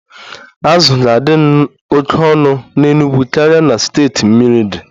Azụ ga-adị oke ọnụ n'Enugwu karịa na steeti mmiri di